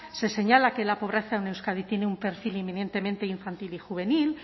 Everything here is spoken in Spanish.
se señala que la pobreza en euskadi tiene un perfil inminentemente infantil y juvenil